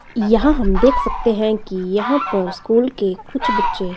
यहां हम देख सकते हैं कि यहां पर स्कूल के कुछ बच्चे--